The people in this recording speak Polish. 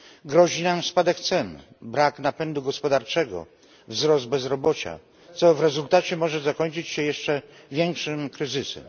Grozi nam spadek cen, brak napędu gospodarczego, wzrost bezrobocia, co w rezultacie może zakończyć się jeszcze większym kryzysem.